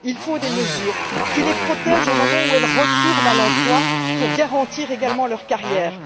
Il faut des mesures qui les protègent au moment où elles retournent à l'emploi pour garantir également leur carrière.